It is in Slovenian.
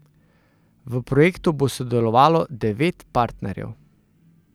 V projektu bo sodelovalo devet partnerjev.